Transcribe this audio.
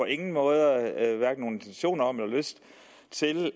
ingen måde intention om eller lyst til